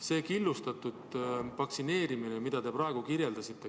See on killustatud vaktsineerimine, mida te praegu kirjeldasite.